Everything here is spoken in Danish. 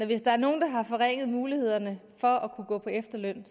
hvis der er nogen der har forringet mulighederne for at kunne gå på efterløn